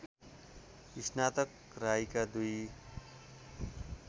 स्नातक राईका दुई